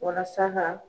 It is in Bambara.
Walasa ka